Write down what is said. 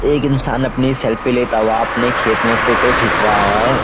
एक इँसान अपनी सेल्फी लेता हुआ अपने खेत में फोटो खींच रहा है।